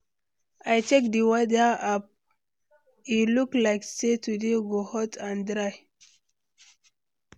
I check di weather app, e look like say today go hot and dry.